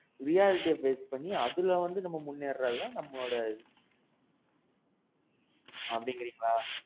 VRDF raise பண்ணி அதுல வந்து முன்னேற்றது தான் நம்மளோட இது. அப்பிடீங்கிறீங்களா?